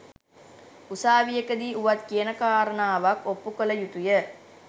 උසාවියකදී වුවත් කියන කාරණාවක් ඔප්පු කළ යුතුය